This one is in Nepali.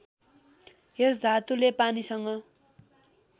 यस धातुले पानीसँग